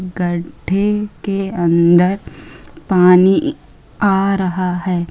गड्डे के अंदर पानी आ रहा है।